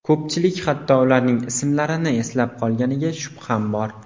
Ko‘pchilik hatto ularning ismlarini eslab qolganiga shubham bor.